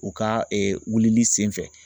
U ka wilili sen fɛ